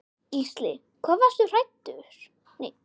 Gísli: Við hvað varstu hræddur?